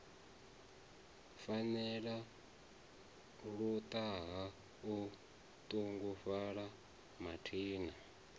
farelela luṱaha o ṱungufhala mathina